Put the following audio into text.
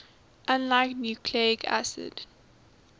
unlike nucleic acids